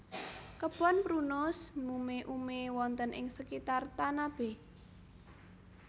Kebon Prunus mume ume wonten ing sekitar Tanabe